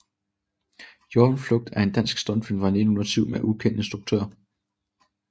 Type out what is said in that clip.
Hjortens Flugt er en dansk stumfilm fra 1907 med ukendt instruktør